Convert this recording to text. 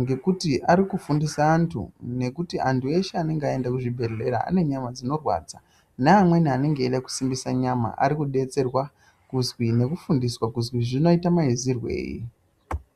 Ngekuti arikufundisa antu ngekuti antu eshe anonga aenda kuzvibhedhlera anenyama dzinorwadza, neamweni anenge eida kusimbisa nyama arikubetserwa kuzi nekufundiswa kuzi zvinoita maizirwei.